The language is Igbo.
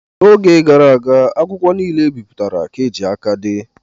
N'oge gara aga akwụkwọ niile e bipụtara ka e ji aka dee.